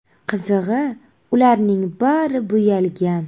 Qizig‘i, ularning bari bo‘yalgan.